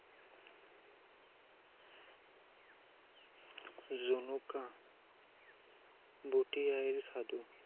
জোনোকা, বোতি আইৰ সাধু,